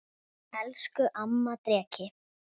Elsku amma Dreki.